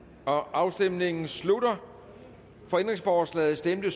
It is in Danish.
afstemningen slutter for ændringsforslaget stemte